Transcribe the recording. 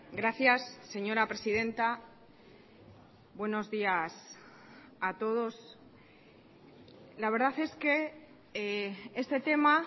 gracias señora presidenta buenos días a todos la verdad es que este tema